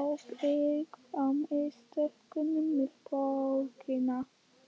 ábyrgð á mistökunum með bókina?